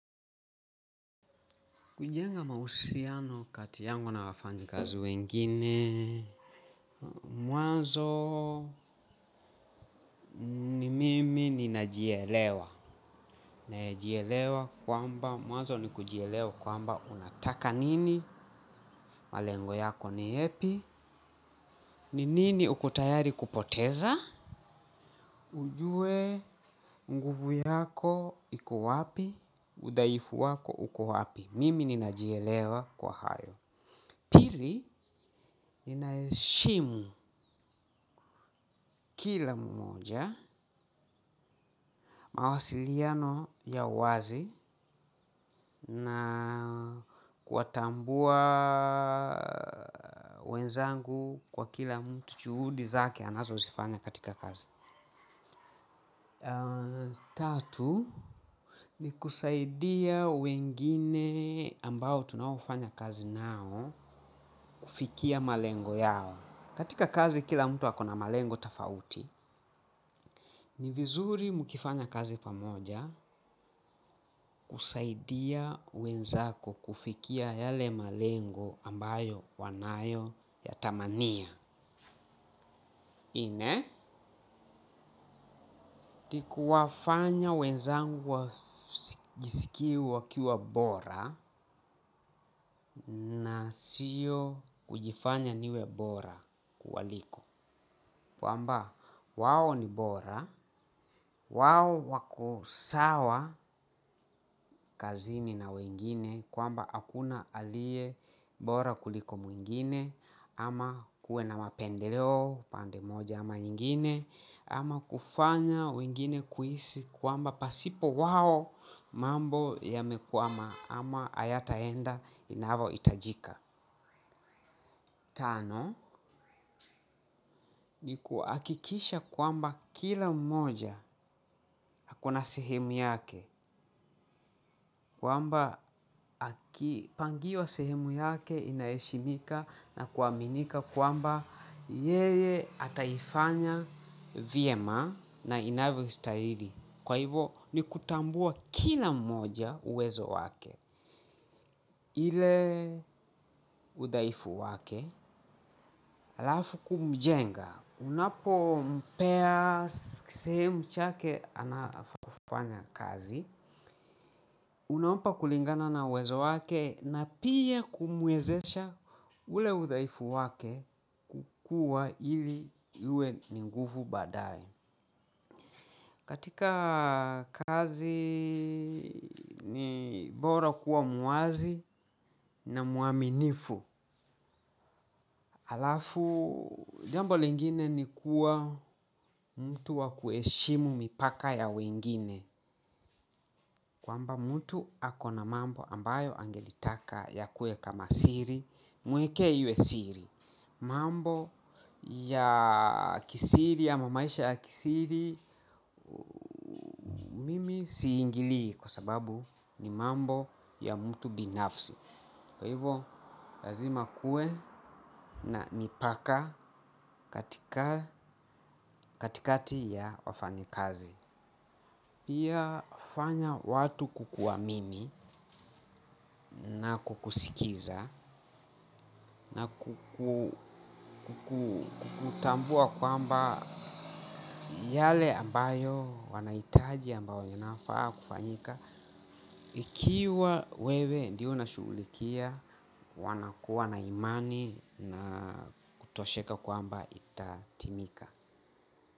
Kujenga mahusiano kati yangu na wafanyikazi wengine, mwanzo, ni mimi ninajielewa. Najielewa kwamba mwazo ni kujielewa kwamba unataka nini. Malengo yako ni yepi. Ni nini uko tayari kupoteza? Ujue nguvu yako iko wapi. Udhaifu wako uko wapi. Mimi ninajielewa kwa hayo. Pili, ninaheshimu kila mmoja mawasiliano ya wazi na kuwatambua wenzangu kwa kila mtu juhudi zake anazo zifanya katika kazi. Tatu, ni kusaidia wengine ambao tunaofanya kazi nao kufikia malengo yao. Katika kazi kila mtu akona malengo tofauti, ni vizuri mkifanya kazi pamoja, kusaidia wenzako kufikia yale malengo ambayo wanayo yatamania. Ine, tikuwafanya wenzangu wa jisikiu wakiwa bora na sio kujifanya niwe bora kuwaliko. Kwamba, wao ni bora, wao wako sawa kazini na wengine kwamba akuna aliye bora kuliko mwingine, ama kuwe na mapendeleo pande moja ama nyingine. Ama kufanya wengine kuhisi kwamba pasipo wao mambo yamekwama ama ayataenda inavo itajika tano, ni kuakikisha kwamba kila mmoja akona sehemu yake kwamba akipangiwa sehemu yake inaheshimika na kuaminika kwamba yeye ataifanya vyema na inavyostahili. Kwa hivo ni kutambua kila mmoja uwezo wake. Ile udhaifu wake, alafu kumjenga. Unapo mpea sehem chake anafaa kufanya kazi. Unampa kulingana na uwezo wake na pia kumwezesha ule udhaifu wake kukua ili yue ni nguvu badae. Katika kazi ni bora kuwa mwazi na muaminifu. Alafu jambo lingine ni kuwa mtu wakueshimu mipaka ya wengine. Kwamba mtu akona mambo ambayo angelitaka yakue kama siri. Mwekee iwe siri. Mambo ya kisiri ama maisha ya kisiri mimi siingilii. Kwa sababu ni mambo ya mtu binafsi. Kwa hivo lazima kuwe na mipaka katika katikati ya wafanyi kazi pia fanya watu kukuamini na kukusikiza na kukutambua kwamba yale ambayo wanaitaji ambayo yanafaa kufanyika ikiwa wewe ndio unashulikia, wanakuwa na imani na kutosheka kwamba itatimika.